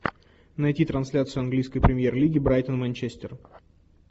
найти трансляцию английской премьер лиги брайтон манчестер